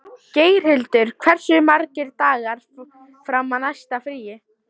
Geirhildur, hversu margir dagar fram að næsta fríi?